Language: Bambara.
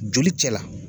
Joli cɛ la